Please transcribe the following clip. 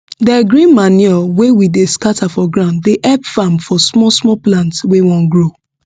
de green manure wey we dey scatter for ground dey help farm for small small plants wey wan grow